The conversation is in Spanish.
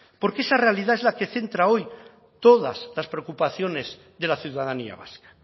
porque esa realidad es la que centra hoy todas las preocupaciones de la ciudadanía vasca